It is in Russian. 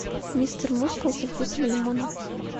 мистер мускул со вкусом лимона